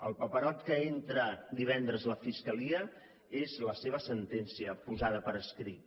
el paperot que entra divendres la fiscalia és la seva sentencia posada per escrit